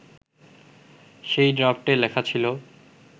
সেই ড্রাফটে লেখা ছিলো